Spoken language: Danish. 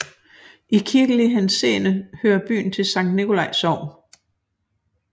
I kirkelig henseende hører byen til Sankt Nicolai Sogn